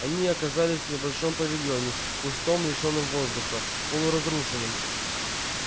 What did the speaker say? они оказались в небольшом павильоне пустом лишённом воздуха полуразрушенном